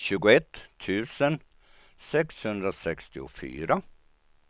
tjugoett tusen sexhundrasextiofyra